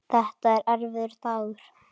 Þetta var erfiður dagur.